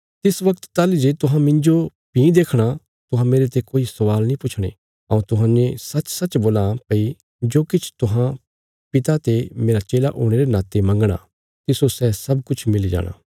तिस वगत ताहली जे तुहां मिन्जो भीं देखणा तुहां मेरते कोई स्वाल नीं पुछणे हऊँ तुहांजो सचसच बोलां भई जो किछ तुहां पिता ते मेरा चेला हुणे रे नाते मंगणा तिस्सो सै सब किछ मिली जाणा